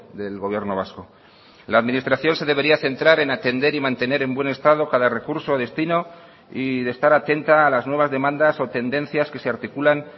del gobierno vasco la administración se debería centrar en atender y mantener en buen estado cada recurso destino y de estar atenta a las nuevas demandas o tendencias que se articulan